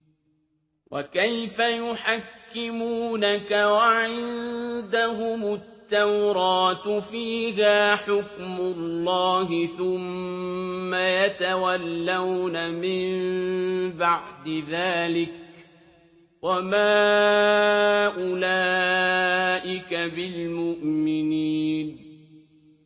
وَكَيْفَ يُحَكِّمُونَكَ وَعِندَهُمُ التَّوْرَاةُ فِيهَا حُكْمُ اللَّهِ ثُمَّ يَتَوَلَّوْنَ مِن بَعْدِ ذَٰلِكَ ۚ وَمَا أُولَٰئِكَ بِالْمُؤْمِنِينَ